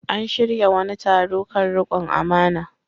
An shirya wani taro kan riƙon amana.